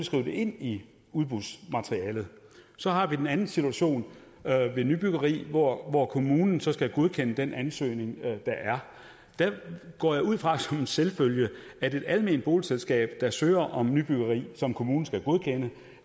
skrive det ind i udbudsmaterialet så har vi den anden situation ved nybyggeri hvor hvor kommunen så skal godkende den ansøgning der er der går jeg ud fra som en selvfølge at et alment boligselskab der søger om nybyggeri som kommunen skal godkende